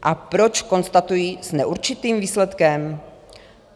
A proč konstatuji s neurčitým výsledkem?